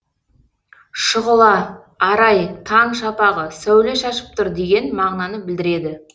шұғыла арай таң шапағы сәуле шашып тұр деген мағынаны білдіреді